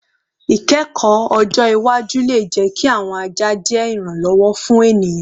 Ikẹkọ ọjọ iwaju le jẹ ki awọn aja je iranlọwọ fun eniyan